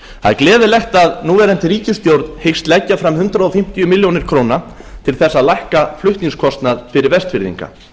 er gleðilegt að núverandi ríkisstjórn hyggst leggja fram hundrað fimmtíu milljónir króna til þess að lækna flutningskostnað fyrir vestfirðinga